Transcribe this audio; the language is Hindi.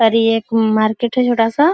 और ये एक मार्केट है छोटा सा।